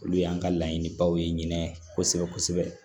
Olu y'an ka laɲinibaw ye kosɛbɛ kosɛbɛ